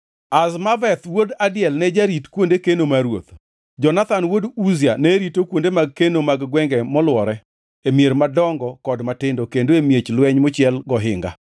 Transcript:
Azmaveth wuod Adiel ne jarit kuonde keno mar ruoth. Jonathan wuod Uzia ne rito kuonde mag keno mag gwenge molwore, e mier madongo kod matindo, kendo e miech lweny mochiel gi ohinga.